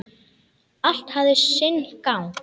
Allt hafi sinn gang.